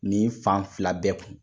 Ni fan fila bɛɛ kun.